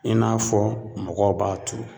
I n'a fɔ mɔgɔw b'a turu